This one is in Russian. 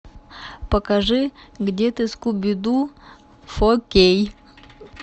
покажи где ты скуби ду фо кей